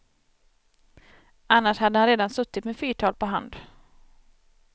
Annars hade han redan suttit med fyrtal på hand.